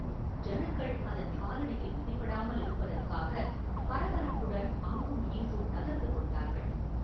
ஜனங்கள் அதன் காலடியில் மிதிபடாமலிருப்பதற்காகப் பரபரப்புடன் அங்கும் இங்கும் நகர்ந்து கொண்டார்கள்.